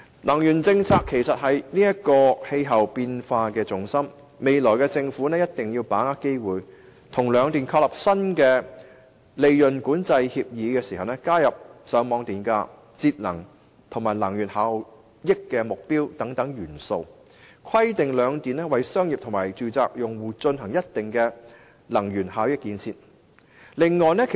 能源政策是應對氣候變化的重心，政府未來必須把握機會，在與兩間電力公司簽訂新的利潤管制協議時，加入上網電價補貼、節能及能源效益目標等元素，並規定兩間電力公司為商業及住宅用戶進行能源效益建設。